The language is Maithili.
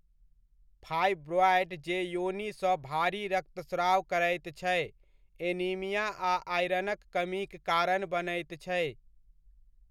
फाइब्रॉएड जे योनिसँ भारी रक्तस्राव करैत छै, एनीमिया आ आयरनक कमीक कारण बनैत छै।